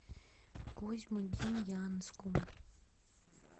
козьмодемьянском